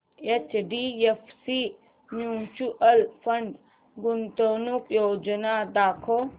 HDFC mutual fund गुंतवणूक योजना दाखव